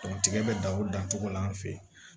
tigɛ bɛ dan o dan cogo la an fɛ yen